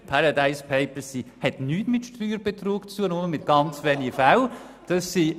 Die «Paradise Papers» haben mit Steuerbetrug nichts zu tun, nur in ganz wenigen Fällen.